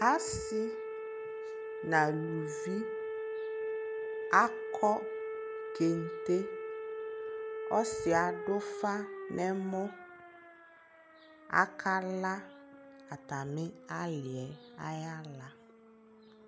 asii nʋ alʋvi akɔ kɛntɛ, ɔsiiɛ adʋ ʋƒa nʋ ɛmɔ, akala atami aliɛ ayi ala